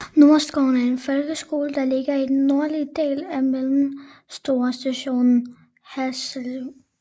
Nordskovskolen er en folkeskole der ligger i den nordlige del af den mellemstore stationsby Haslev